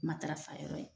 Matarafayɔrɔ ye